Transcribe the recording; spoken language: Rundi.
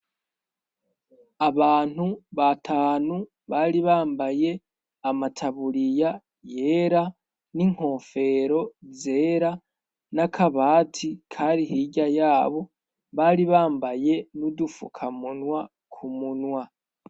Abantu ba tanu bari bambaye amataburiya yera n'inkofero zera n'akabati kari hirya yabo bari bambaye n'udufuka munwa ku munwa.